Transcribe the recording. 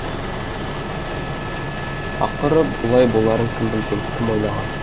ақыры бұлай боларын кім білген кім ойлаған